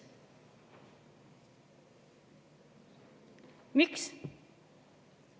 Miks?